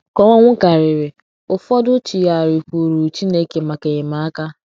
ka ọnwụ kariri, ụfọdụ chigharịkwuuru Chineke maka enyemaka.